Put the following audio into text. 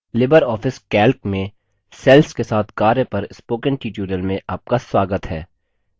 Libre office calc में cells के साथ कार्य पर spoken tutorial में आपका स्वागत है